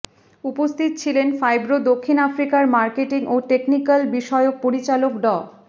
উপস্থিত ছিলেন ফাইব্রো দক্ষিণ আফ্রিকার মার্কেটিং ও টেকনিকাল বিষয়ক পরিচালক ড